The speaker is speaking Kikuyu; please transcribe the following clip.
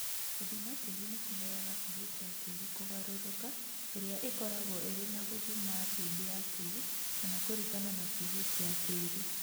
Gũthima tĩĩri nĩ kũheaga pH ya tĩĩri kũgarũrũka ĩrĩa ĩkoragwo ĩrĩ ya gũthima acid ya tĩĩri kana kũringana na pH ya tĩĩri.